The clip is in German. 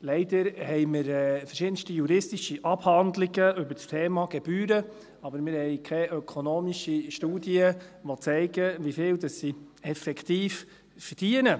Leider haben wir verschiedenste juristische Abhandlungen über das Thema Gebühren, aber wir haben keine ökonomischen Studien, die zeigen, wie viel sie effektiv verdienen.